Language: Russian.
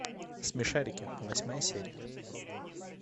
смешарики восьмая серия